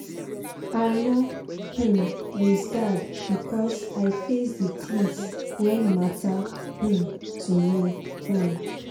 i nor um lose guard becos i face d tins wen matter um to me um